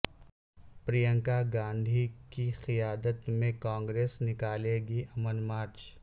پرینکا گاندھی کی قیادت میں کانگریس نکالے گی امن مارچ